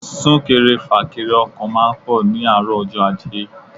Súnkẹrẹ fàkẹrẹ ọkọ̀ máa ń pọ̀ ní àárọ̀ ọjọ́ ajé.